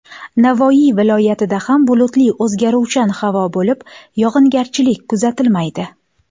Navoiy viloyatida ham bulutli o‘zgaruvchan havo bo‘lib, yog‘ingarchilik kuzatilmaydi.